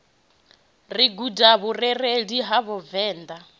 ri guda vhurereli ha vhavenda